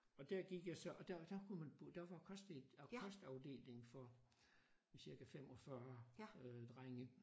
Og der gik jeg så og der der kunne man der var kost øh kostafdeling for cirka 45 øh drenge